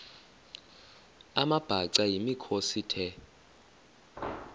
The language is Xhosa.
amabhaca yimikhosi the